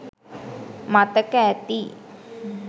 මතක ඇති